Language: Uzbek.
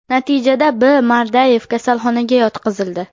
Natijada B.Mardayev kasalxonaga yotqizildi.